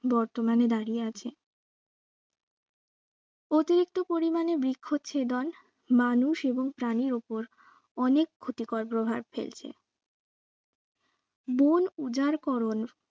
বর্তমানে দাঁড়িয়ে আছে অতিরিক্ত পরিমানের বৃক্ষ ছেদন মানুষ এবং প্রাণীর ওপর অনেক ক্ষতিকর প্রভাব ফেলছে বন উজারকরণ